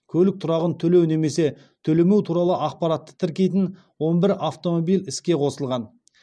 көлік тұрағын төлеу немесе төлемеу туралы ақпаратты тіркейтін он бір автомобиль іске қосылған